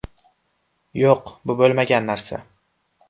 Yo‘q, bu bo‘lmagan narsa.